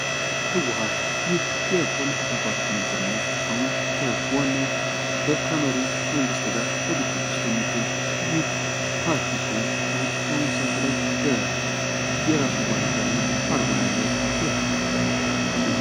ህወሃት፤ ይህ የፖለቲካ ፓርቲ የነበረ እና አሁን ከዋናመሪው መንግስር ጋ ግጭት ውስጥ የሚገኝ ይህ ፓርቲ ሲሆን ይህ ባሁን ሰአት ላይ በራሱ ባንዲራ እና አርማ ያለው መሪ ነው።